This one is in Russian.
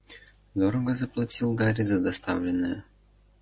дорого заплатил гарри за доставленное